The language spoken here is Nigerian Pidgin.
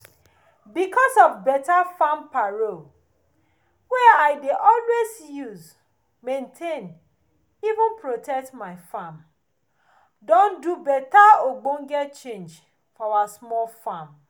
because of beta farm paro wey i dey always use maintain even protect my farm don do beta ogbonge change for our small farm